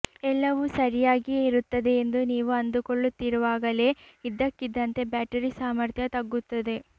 ಎಲ್ಲವೂ ಸರಿಯಾಗಿಯೇ ಇರುತ್ತದೆ ಎಂದು ನೀವು ಅಂದುಕೊಳ್ಳುತ್ತಿರುವಾಗಲೇ ಇದ್ದಕ್ಕಿದ್ದಂತೆ ಬ್ಯಾಟರಿ ಸಾಮರ್ಥ್ಯ ತಗ್ಗುತ್ತದೆ